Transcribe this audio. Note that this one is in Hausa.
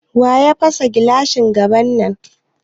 Waya fasa gilashin gaban nan?